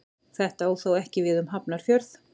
Þetta á þó ekki við um Hafnarfjörð.